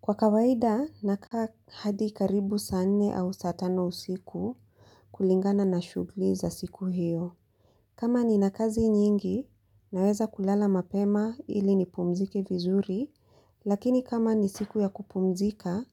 Kwa kawaida, nakaa hadi karibu saa nne au saa tano usiku kulingana na shughuli za siku hiyo. Kama nina kazi nyingi, naweza kulala mapema ili nipumzike vizuri, lakini kama ni siku ya kupumzika,